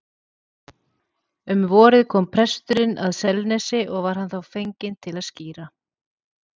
Um vorið kom presturinn að Selnesi og var hann þá fenginn til að skíra.